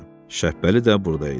Şəppəli də burda idi.